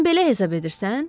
Sən belə hesab edirsən?